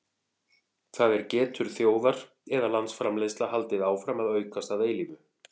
það er getur þjóðar eða landsframleiðsla haldið áfram að aukast að eilífu